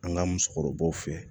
An ka musokɔrɔbaw fɛ